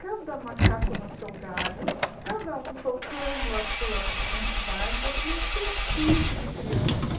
Cada macaco no seu galho, cada um tocando as suas entidades, aquele entupido de criança.